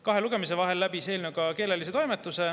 Kahe lugemise vahel läbis eelnõu ka keelelise toimetuse.